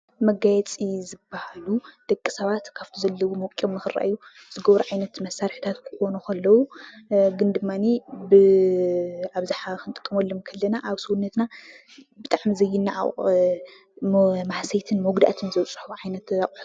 መጋየፂ ዝበሃሉ ደቂ ሰባት ካፍቲ ዘለዉዎ ወቂቦም ንክርኣዩ ዝገብሩ ዓይነት መሳርሕታት ክኾኑ ከለዉ ፤ግን ድማኒ ብኣብዝሓ ክንጥቀመሎም ከለና ኣብ ሰዉነትና ብጣዕሚ ዘይነዓቅ ማህሰይትን መጉዳእትን ዘብፅሑ ዓይነት ኣቁሑት ...